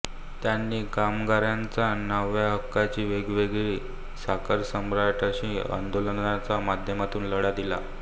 त्यांनी कामगारांच्या न्यायहक्कासाठी वेळोवेळी साखरसम्राटांशी आन्दोलनाच्या माध्यमातून लढा दिला